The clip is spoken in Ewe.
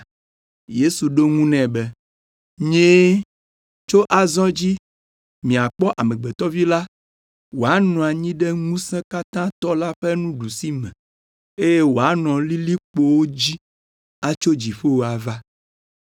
Yesu ɖo eŋu nɛ be, “Nyee, tso azɔ dzi miakpɔ Amegbetɔ Vi la wòanɔ anyi ɖe Ŋusẽkatãtɔ la ƒe nuɖusime, eye wòanɔ lilikpowo dzi atso dziƒo ava.”